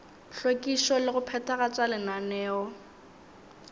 hlwekišo le go phethagatša lenaneo